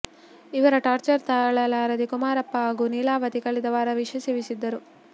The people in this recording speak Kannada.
ಇವರ ಟಾರ್ಚರ್ ತಾಳಲಾಗದೆ ಕುಮಾರಪ್ಪ ಹಾಗೂ ನೀಲಾವತಿ ಕಳೆದ ವಾರ ವಿಷ ಸೇವಿಸಿದ್ದರು